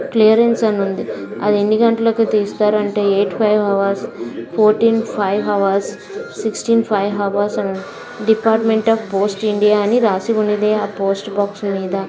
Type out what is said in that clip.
Clearance అని ఉంది. అది ఎన్ని గంటలకు తీస్తారంటే eight five hours sixty five hours department of post India అని రాసి ఉంది. ఆ పోస్ట్ బాక్స్ మీద--